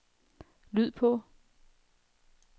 lyd på